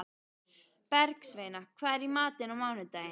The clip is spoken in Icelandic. Bergsveina, hvað er í matinn á mánudaginn?